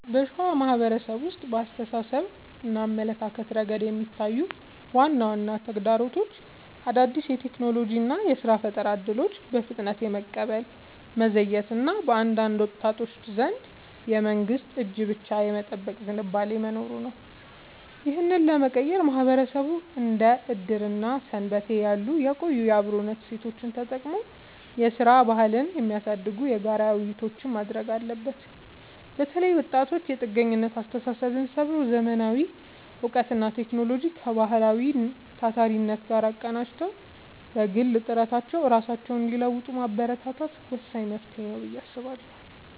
በሸዋ ማህበረሰብ ውስጥ በአስተሳሰብና አመለካከት ረገድ የሚታዩት ዋና ዋና ተግዳሮቶች አዳዲስ የቴክኖሎጂና የሥራ ፈጠራ እድሎችን በፍጥነት የመቀበል መዘግየት እና በአንዳንድ ወጣቶች ዘንድ የመንግስትን እጅ ብቻ የመጠበቅ ዝንባሌ መኖሩ ነው። ይህንን ለመቀየር ማህበረሰቡ እንደ ዕድርና ሰንበቴ ያሉ የቆዩ የአብሮነት እሴቶቹን ተጠቅሞ የሥራ ባህልን የሚያሳድጉ የጋራ ውይይቶችን ማድረግ አለበት። በተለይ ወጣቶች የጥገኝነት አስተሳሰብን ሰብረው: ዘመናዊ እውቀትንና ቴክኖሎጂን ከባህላዊው ታታሪነት ጋር አቀናጅተው በግል ጥረታቸው ራሳቸውን እንዲለውጡ ማበረታታት ወሳኝ መፍትሄ ነው ብዬ አስባለሁ።